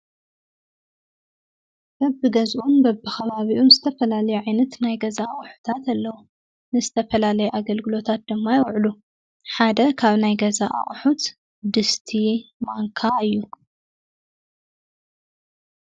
በቢገዝኡን በቢከባቢኡን ዝተፈላለዩ ዓይነት ናይ ገዛ ኣቑሑታት ኣለው፡፡ ንዝተፈላለዩ ኣገልግሎታት ድማ ይውዕሉ፡፡ ሓደ ካብ ናይ ገዛ አቑሑት ድስቲ፣ ማንካ እዩ፡፡